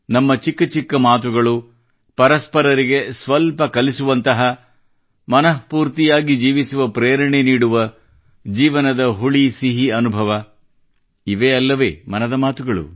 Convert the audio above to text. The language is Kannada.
ನಮ್ಮ ಚಿಕ್ಕ ಚಿಕ್ಕ ಮಾತುಗಳು ಪರಸ್ಪರರಿಗೆ ಸ್ವಲ್ಪ ಕಲಿಸುವಂತಹ ಮನಸ್ಫೂರ್ತಿಯಾಗಿ ಜೀವಿಸುವ ಪ್ರೇರಣೆ ನೀಡುವ ಜೀವನದ ಹುಳಿಸಿಹಿ ಅನುಭವ ಇದೇ ಅಲ್ಲವೇ ಮನದ ಮಾತುಗಳು